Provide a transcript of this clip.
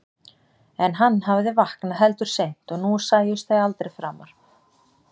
En hann hafði vaknað heldur seint og nú sæjust þau aldrei framar.